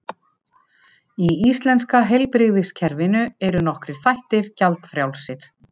Í íslenska heilbrigðiskerfinu eru nokkrir þættir gjaldfrjálsir.